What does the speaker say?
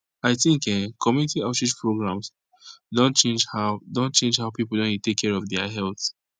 i think eh community outreach programs don change how don change how people don dey take care of their health